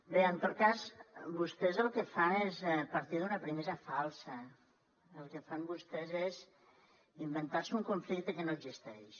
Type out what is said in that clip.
bé en tot cas vostès el que fan és partir d’una premissa falsa el que fan vostès és inventar se un conflicte que no existeix